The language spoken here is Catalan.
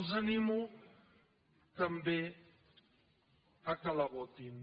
els animo també que la votin